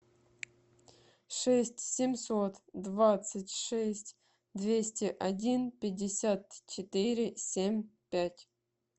шесть семьсот двадцать шесть двести один пятьдесят четыре семь пять